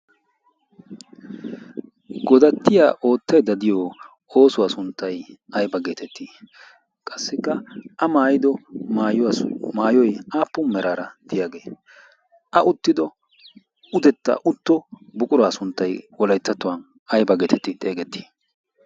Godattiya oottaydda de'iyo oosuwaa sunttay ayba geetettii? Qassikka a maayido maayoy aappun meraara de'iyaagee? A uttido utetta utto buquraa sunttay wolayttattuwaa ayba geetetti xeegettii?